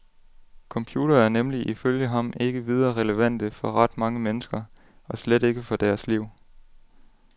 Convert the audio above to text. Computere er nemlig ifølge ham ikke videre relevante for ret mange mennesker, og slet ikke for deres liv.